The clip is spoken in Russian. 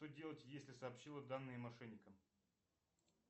что делать если сообщила данные мошенникам